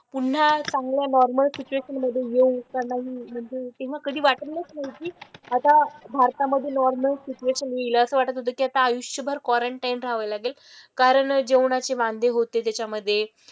पुन्हा चांगल्या normal situation मधे येऊ का नाही म्हणजे तेव्हा कधी वाटतंच नव्हती. आता भारतामधे नॉर्मल सिटूएशन येईल. असं वाटत होतं की आता आयुष्यभर क्वरनटाईन राहावं लागेल. कारण जेवणाचे वांदे होते त्याच्यामधे.